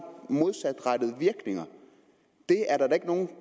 modsatrettede virkninger det er der da ikke nogen